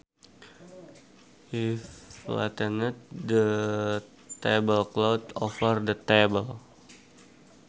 He flattened the tablecloth over the table